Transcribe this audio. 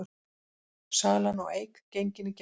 Salan á Eik gengin í gegn